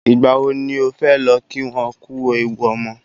Ìgbà wo ni o fé lọ kí wọn kú ewu ọmọ?